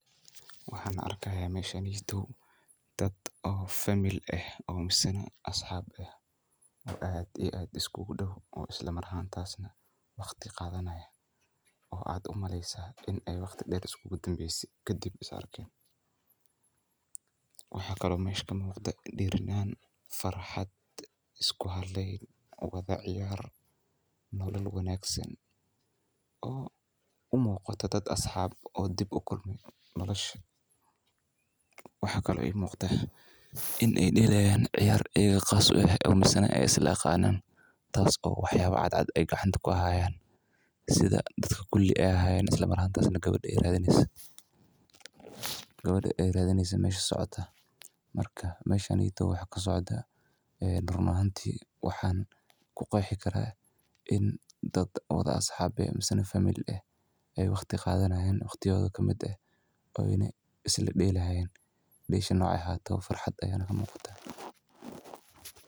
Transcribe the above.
Waxan arkaya meshaneyto dad oo famil eh oo misan asxab eh oo aad iyo aad iskugu dhow oo isla Mar ahantas na waqtiga wada oo ad umaleysa ini waqti dheer iskugu dambeyse kadib is arkeen, waxa kale oo meshan kamuqdaa dhiiranan farxad, isku halay labada ciyar, nolol wanaagsan oo umuqaa dad asxab eh oo dib ukulme nolosha, waxa kale oo ii muqda in ay dhelayan ciyar ayaga qas u eh oo misane ay isla aqanan taaso waxyaba cadcad ay gacanta kuhayaan, sida dadka kuli ay ahayeen isla mar ahantas na gawadha ay radineyso gawadha ay radineyso mesha socota marka meshaneyto waxaa kasocda run ahanti wazan kuqeexi karaa in dad wada aaxab ee mise famil eh ay waqti wada qadanayan in waqtiyadoda kamid eh ini isla dhalayan dhesha nocay ahato bo farxad ayana ka muuqata